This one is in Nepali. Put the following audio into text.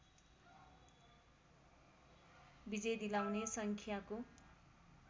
विजय दिलाउने सङ्ख्याको